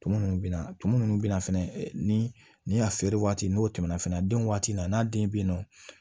Tumu minnu bɛ na tumu minnu bɛ na fɛnɛ ni a feere waati n'o tɛmɛna fɛnɛ den waati na n'a den bɛ yen nɔ